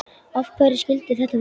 Af hverju skyldi þetta vera?